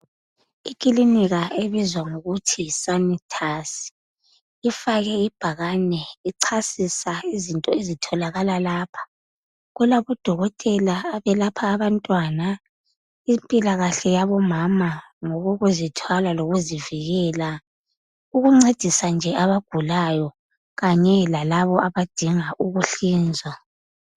Ikininika ebizwa ngokuthi yiSanitus ifake ibhakani ichasisa izinto ezitholakala lapha. Kulabo dokotela abalapha abantwana impila kahle yabomama ngokokuzithwala lokokuzivikela ukuncedisa nje abagulayo kanye lalaba abadinga ukuhlinzwa.